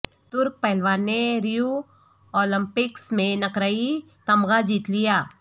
ترک پہلوان نے ریو اولمپکس میں نقرئی تمغہ جیت لیا